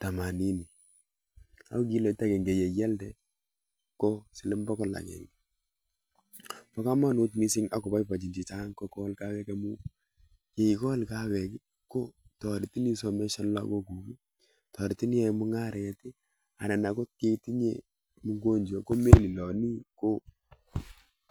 temanini ako kiloit akenge yeialde ko siling bokol akenge. Po komonut mising akoboibochin chechang kokol kahawek amu yeikol kahawek ko toretin isomeshane lagokuk, toretin iyae mung'aret anan akot yeitinye mgonjwa komeliloni ko